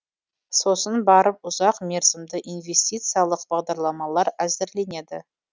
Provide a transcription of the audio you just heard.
сосын барып ұзақ мерзімді инвестициялық бағдарламалар әзірленеді